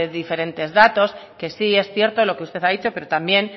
diferentes datos que sí es cierto lo que usted ha dicho pero también